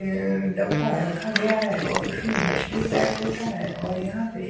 अ डब्बा रखा गया है और उसमें मछली पैक होता है और यहाँ पे--